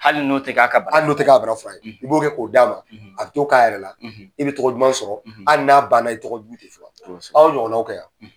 Hali n'o ti k'a ka bana fura, hali n'o ti kɛ ka bana fura ye i b'o kɛ k'o d'a ma a bi to k'a yɛrɛ la i bi tɔgɔ duman sɔrɔ hali n'a ban na i tɔgɔ jugu ti fɔ, kosɛbɛ, a y'o ɲɔgɔnnaw kɛ wa ?